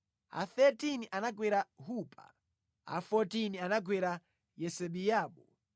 a 13 anagwera Hupa, a 14 anagwera Yesebeabu,